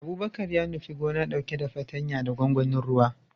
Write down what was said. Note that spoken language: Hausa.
Abubakar ya nufi gona, dauke da fartanya da gwangwanin ruwa